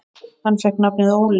Hann fékk nafnið Óli.